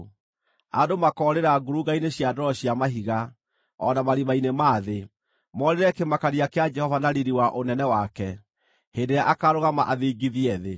Andũ makoorĩra ngurunga-inĩ cia ndwaro cia mahiga, o na marima-inĩ ma thĩ, moorĩre kĩmakania kĩa Jehova na riiri wa ũnene wake, hĩndĩ ĩrĩa akaarũgama athingithie thĩ.